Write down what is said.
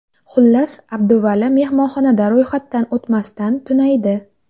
Xullas, Abduvali mehmonxonada ro‘yxatdan o‘tmasdan tunaydi.